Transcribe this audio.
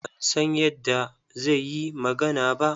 Ban san yadda zai yi magana ba.